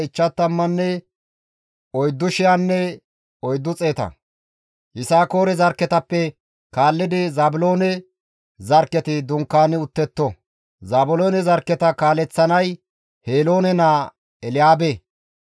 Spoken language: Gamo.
Yisakoore zarkketappe kaallidi Zaabiloone zarkketi dunkaani uttetto; Zaabiloone zarkketa kaaleththanay Heloone naa Elyaabe.